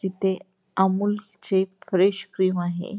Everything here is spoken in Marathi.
जिथे अमूल चे फ्रेश क्रीम आहे.